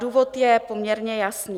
Důvod je poměrně jasný.